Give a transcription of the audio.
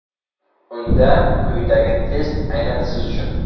Unda quyidagi test aynan siz uchun.